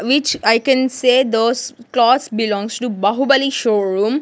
which i can say those clothes belongs to baahubali showroom.